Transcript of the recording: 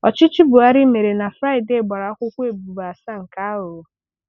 Ọchịchị Buhari mere na Fraịde gbara akwụkwọ ebubo asaa nke aghụghọ